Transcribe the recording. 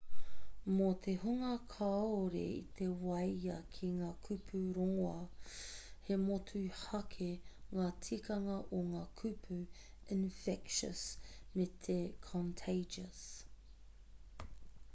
mō te hunga kāore i te waia ki ngā kupu rongoā he motuhake ngā tikanga o ngā kupu infectious me te contagious